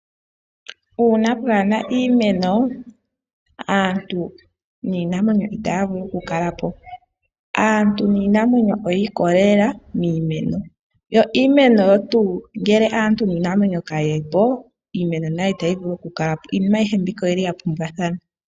Uuna pwaa na iimeno aantu niinamwenyo otaya vulu oku kala po. Aantu niinamwenyo oyi ikolelela miimeno, yo iimeno oyo tuu ngele aantu niinamwenyo ka yi po iimeno nayo ita yi vulu oku kala po. Iinima ayihe mbika oya pumbwa thana.